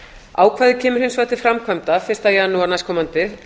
ákvæðið kemur hins vegar til framkvæmda fyrsta janúar næstkomandi